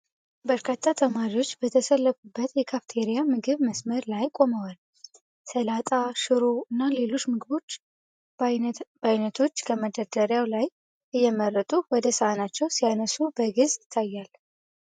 በርካታ ተማሪዎች በተሰለፉበት የካፌቴሪያ ምግብ መስመር ላይ ቆመዋል። ሰላጣ፣ ሽሮ፣ እና ሌሎች የምግብ አይነቶችን ከመደርደሪያው ላይ እየመረጡ ወደ ሳህናቸው ሲያነሱ በግልጽ ይታያል።